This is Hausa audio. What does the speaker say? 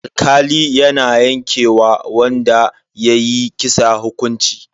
Alkali na yanke wa wanda ya yi kisa hukunci.